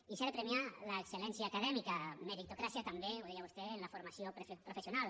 i s’ha de premiar l’excel·lència acadèmica meritocràcia també ho deia vostè en la formació professional